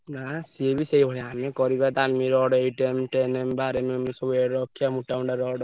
ନା ସିଏବି ସେଇ ଭଳିଆ ଆମେ କରିବା ଦାମି rod eight M , ten M , ବାର M ଏଇ ସବୁ ରଖିଆ ମୋଟା ମୋଟା ରଡ।